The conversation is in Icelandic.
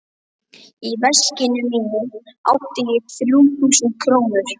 Í veskinu mínu átti ég þrjú þúsund krónur.